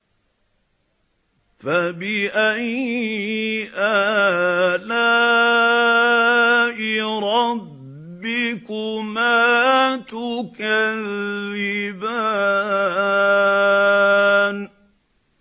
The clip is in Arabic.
فَبِأَيِّ آلَاءِ رَبِّكُمَا تُكَذِّبَانِ